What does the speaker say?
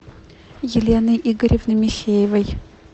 елены игоревны михеевой